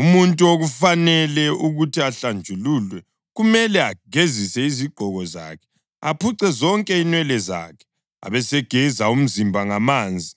Umuntu okufanele ukuthi ahlanjululwe kumele agezise izigqoko zakhe, aphuce zonke inwele zakhe, abesegeza umzimba ngamanzi,